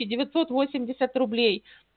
и девятьсот восемьдесят рублей